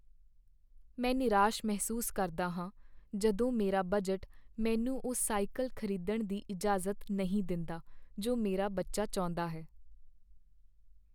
ਮੈਂ ਨਿਰਾਸ਼ ਮਹਿਸੂਸ ਕਰਦਾ ਹਾਂ ਜਦੋਂ ਮੇਰਾ ਬਜਟ ਮੈਨੂੰ ਉਹ ਸਾਈਕਲ ਖ਼ਰੀਦਣ ਦੀ ਇਜਾਜ਼ਤ ਨਹੀਂ ਦਿੰਦਾ ਜੋ ਮੇਰਾ ਬੱਚਾ ਚਾਹੁੰਦਾ ਹੈ।